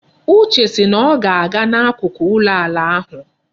Uche si na ọ ga-aga n'akụkụ ụlọ ala ahụ.